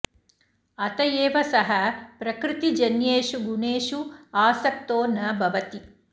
अत एव सः प्रकृतिजन्येषु गुणेषु आसक्तो न भवति